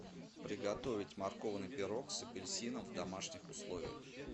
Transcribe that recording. приготовить морковный пирог с апельсином в домашних условиях